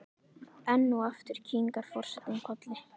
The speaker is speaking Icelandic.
Enn og aftur kinkar forsetinn kolli.